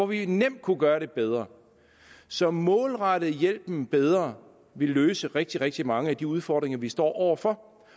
vi nemt kunne gøre det bedre så at målrette hjælpen bedre ville løse rigtig rigtig mange af de udfordringer vi står over for